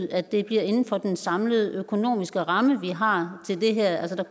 at det bliver inden for den samlede økonomiske ramme vi har til det her